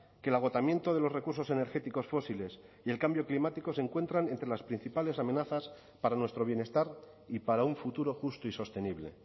que el agotamiento de los recursos energéticos fósiles y el cambio climático se encuentran entre las principales amenazas para nuestro bienestar y para un futuro justo y sostenible